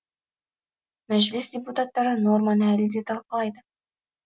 мәжіліс депутаттары норманы әлі де талқылайды